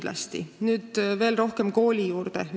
Lähen nüüd veel rohkem kooli juurde.